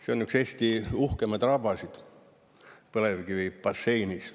See on üks Eesti uhkemaid rabasid põlevkivibasseinis.